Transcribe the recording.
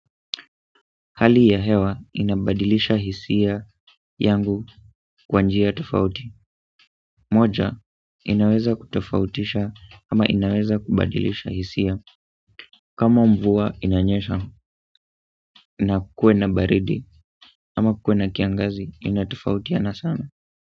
Hali ya hewa inabadilisha hisia yangu kwa njia tofauti moja, inaweza kutofautisha ama inaweza kubadilisha hisia kama mvua inanyesha na kukue na baridi ama kukue na kiangazi inatofautiana sana.